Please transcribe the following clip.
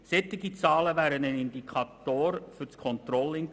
Solche Zahlen wären wichtige Indikatoren für das Controlling gewesen.